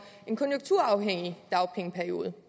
en konjunkturafhængig dagpengeperiode